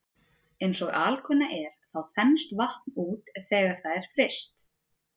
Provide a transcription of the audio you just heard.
Eins og alkunna er þá þenst vatn út þegar það er fryst.